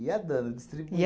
Ia dando,